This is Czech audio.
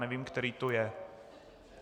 Nevím, který to je.